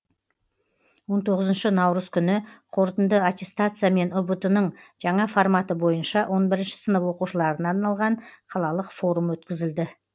он тоғызыншы наурыз күні қорытынды аттестация мен ұбт ның жаңа форматы бойынша он бірінші сынып оқушыларына арналған қалалық форум өткізілді